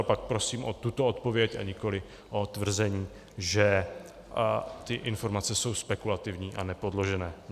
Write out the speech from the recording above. Ale pak prosím o tuto odpověď, a nikoliv o tvrzení, že ty informace jsou spekulativní a nepodložené.